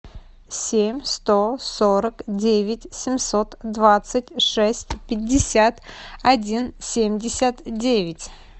семь сто сорок девять семьсот двадцать шесть пятьдесят один семьдесят девять